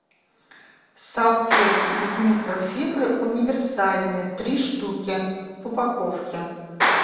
салфетки из микрофибры универсальные три штуки в упаковке